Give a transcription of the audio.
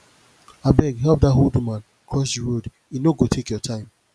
abeg help that old woman cross the road e no go take your time